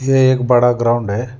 ये एक बड़ा ग्राउंड है।